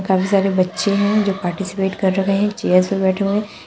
काफी सारे बच्चे हैं जो पार्टिसिपेट कर रखे हैं। एक चेयर्स पे बैठे हुए हैं।